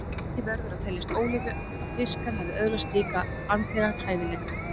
Því verður að teljast ólíklegt að fiskar hafi öðlast slíka andlega hæfileika.